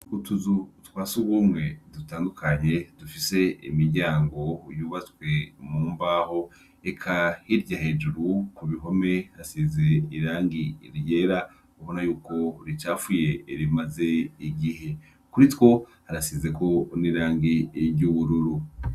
Utuzu twa sugumwe dutandukanye dufise imiryango yubatswe mumbaho eka hirya hejuru ku bihome hasize irangi ryera ubona yuko ricafuye rimaze igihe kuri two harasize ko n’irangi ry'ubururu.